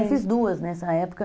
Ah, eu fiz duas nessa época.